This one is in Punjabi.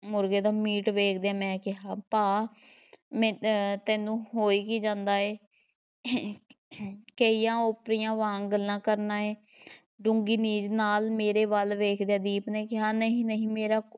ਮੁਰਗੇ ਦਾ ਮੀਟ ਵੇਖਦਿਆਂ ਮੈਂ ਕਿਹਾ ਭਾ ਮੈਂ ਅਹ ਤੈਨੂੰ ਹੋਈ ਕੀ ਜਾਂਦਾ ਹੈ ਕੇਹੀਆਂ ਓਪਰਿਆਂ ਵਾਂਗ ਗੱਲਾਂ ਕਰਨਾ ਏਂ ਡੂੰਘੀ ਨੀਝ ਨਾਲ਼ ਮੇਰੇ ਵੱਲ ਵੇਖਦਿਆਂ ਦੀਪ ਨੇ ਕਿਹਾ ਨਹੀਂ, ਨਹੀਂ, ਮੇਰਾ